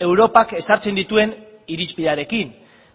europak ezartzen dituen irizpidearekin